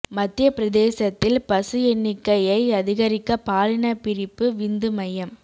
மத்திய பிரதேசத்தில் பசு எண்ணிக்கையை அதிகரிக்க பாலின பிரிப்பு விந்து மையம்